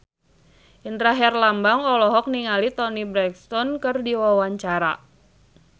Indra Herlambang olohok ningali Toni Brexton keur diwawancara